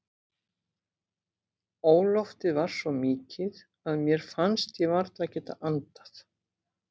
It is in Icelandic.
Óloftið var svo mikið að mér fannst ég varla geta andað.